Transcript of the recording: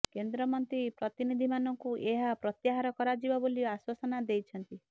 କେନ୍ଦ୍ରମନ୍ତ୍ରୀ ପ୍ରତିନିଧୀମାନଙ୍କୁ ଏହା ପ୍ରତ୍ୟାହାର କରାଯିବ ବୋଲି ଆଶ୍ୱାସନା ଦେଇଛନ୍ତି